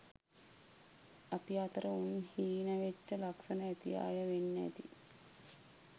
අපි අතර උන් හීණ වෙච්ච ලක්ෂන ඇති අය වෙන් ඇති